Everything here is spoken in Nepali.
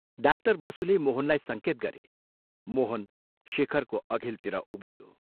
डाक्टर बसुले मोहनलाई संकेत गरे मोहन शेखरको अघिल्तिर उभियो।